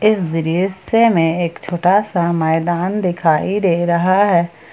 इस दृश्य में एक छोटा सा मैदान दिखाई दे रहा है।